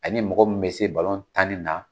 A mɔgɔ mun bɛ se tan ni na.